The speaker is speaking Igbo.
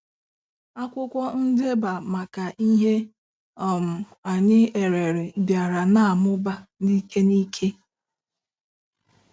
Akwụkwọ ndeba maka ihe um anyị erere bịara na-amụba n'ike n'ike.